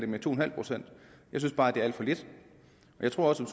med to en halv procent jeg synes bare det er alt for lidt jeg tror også at